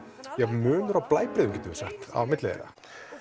munur á blæbrigðum getum við sagt á milli þeirra